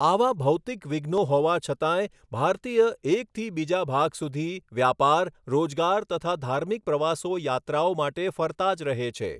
આવા ભૌતિક વિઘ્નો હોવાં છતાંય ભારતીય એકથી બીજા ભાગ સુધી વ્યાપાર રોજગાર તથા ધાર્મિક પ્રવાસો યાત્રાઓ માટે ફરતા જ રહે છે.